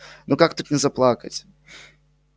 ну как тут не заплакать